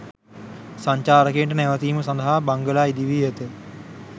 සංචාරකයින්ට නැවතීම සදහා බංගලා ඉදිවී ඇත.